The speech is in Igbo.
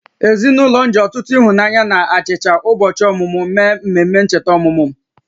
Ezinụlọ m ji ọtụtụ ịhụnanya na achicha ụbọchị ọmụmụ mee mmemme ncheta ọmụmụ m